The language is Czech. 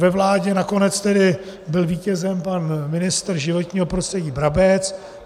Ve vládě nakonec tedy byl vítězem pan ministr životního prostředí Brabec.